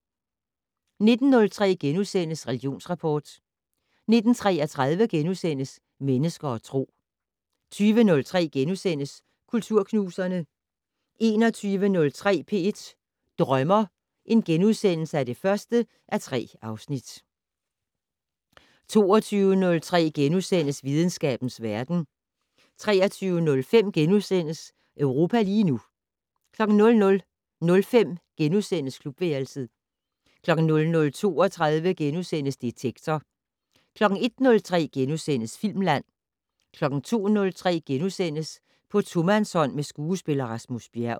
19:03: Religionsrapport * 19:33: Mennesker og Tro * 20:03: Kulturknuserne * 21:03: P1 Drømmer (1:3)* 22:03: Videnskabens verden * 23:05: Europa lige nu * 00:05: Klubværelset * 00:32: Detektor * 01:03: Filmland * 02:03: På tomandshånd med skuespiller Rasmus Bjerg *